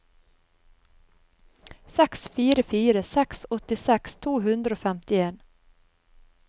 seks fire fire seks åttiseks to hundre og femtien